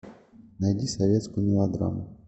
найди советскую мелодраму